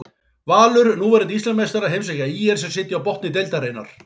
Valur, núverandi Íslandsmeistarar heimsækja ÍR sem sitja á botni deildarinnar.